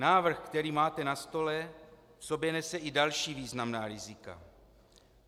Návrh, který máte na stole, v sobě nese i další významná rizika.